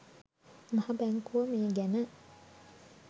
මහ බැංකුව මේ ගැන